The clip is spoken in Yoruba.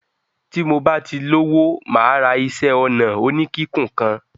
Bí mo bá ti lówó mà á ra iṣẹ́-ọnà oníkíkùn kàn.